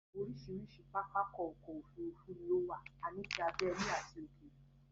Orísirísi pápákọ̀ ọ̀kọ òfurufú ni ó wà, a ní tí abẹ́lé àti ti òkèrè